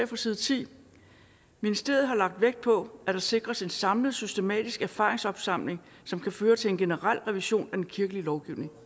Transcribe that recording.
fra side 10 ministeriet har lagt vægt på at der sikres en samlet systematisk erfaringsopsamling som kan føre til en generel revision af den kirkelige lovgivning